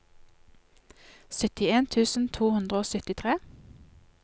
syttien tusen to hundre og syttitre